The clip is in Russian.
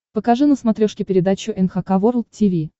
покажи на смотрешке передачу эн эйч кей волд ти ви